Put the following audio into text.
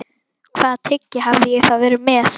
Hvaða tyggjó hafði ég þá verið með?